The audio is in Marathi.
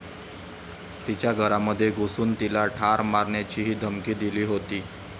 तिच्या घरामध्ये घुसून तिला ठार मारण्याचीही धमकी दिली होती.